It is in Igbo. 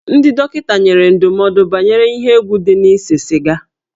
Ndị dọkịta nyere ndụmọdụ banyere ihe egwu dị na ise siga